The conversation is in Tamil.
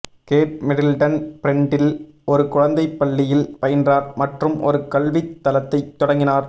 கேட் மிடில்டன் ப்ரெண்ட்டில் ஒரு குழந்தைப் பள்ளியில் பயின்றார் மற்றும் ஒரு கல்வித் தளத்தைத் தொடங்கினார்